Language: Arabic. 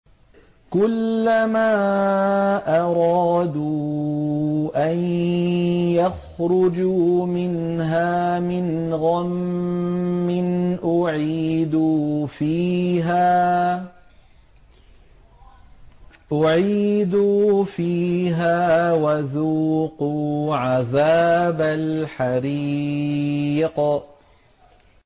كُلَّمَا أَرَادُوا أَن يَخْرُجُوا مِنْهَا مِنْ غَمٍّ أُعِيدُوا فِيهَا وَذُوقُوا عَذَابَ الْحَرِيقِ